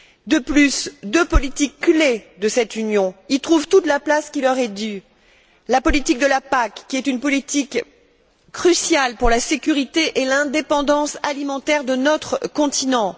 De plus, deux politiques clés de cette Union y trouvent toute la place qui leur est due. La PAC, qui est une politique cruciale pour la sécurité et l'indépendance alimentaire de notre continent